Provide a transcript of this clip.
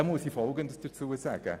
Dazu möchte ich Folgendes sagen: